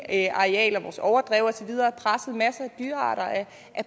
engarealer vores overdrev og så videre af dyrearter er